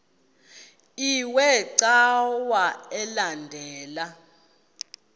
iwe cawa elandela